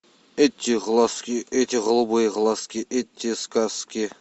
эти глазки эти голубые глазки эти сказки